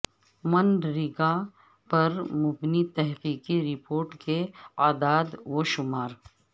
منریگا پر مبنی تحقیقی رپورٹ کے اعداد و شمار